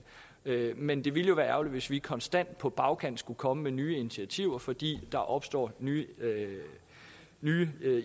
men det ville jo være ærgerligt hvis vi konstant på bagkant skulle komme med nye initiativer fordi der opstod nye